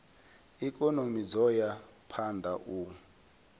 ikonomi dzo ya phanda u